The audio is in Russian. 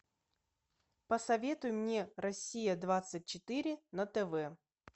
посоветуй мне россия двадцать четыре на тв